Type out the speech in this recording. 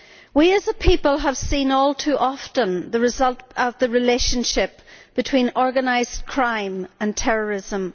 We as a people have seen all too often the result of the relationship between organised crime and terrorism.